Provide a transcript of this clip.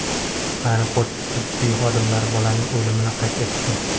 Aeroport tibbiy xodimlari bolaning o‘limini qayd etdi.